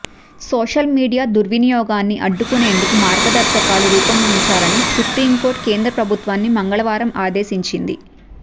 social media దుర్వినియోగాన్ని అడ్డుకునేందుకు మార్గదర్శకాలు రూపొందించాలని సుప్రీంకోర్టు కేంద్ర ప్రభుత్వాన్ని మంగళవారం ఆదేశించింది